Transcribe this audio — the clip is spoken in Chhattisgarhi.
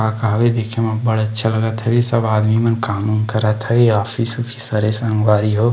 दिखे म बढ़ अच्छा लगत हवय सब मन आदमी काम वाम करत हवे ऑफिस वाफिस हवय संगवारी हो ।--